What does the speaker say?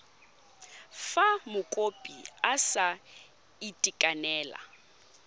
fa mokopi a sa itekanela